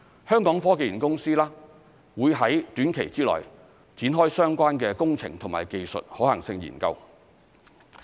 香港科技園公司會在短期內展開相關的工程及技術可行性研究。